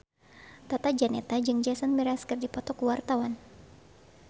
Tata Janeta jeung Jason Mraz keur dipoto ku wartawan